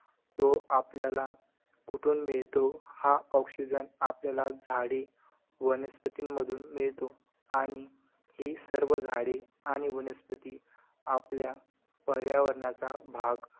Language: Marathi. तो आपल्याला कुठून मिळतो. हा oxygen आपल्याला झाड़े वनस्पतिमधून मिळतो आणि ही सर्व झाड़े आणि वनस्पति आपल्या पर्यावरणाचा भाग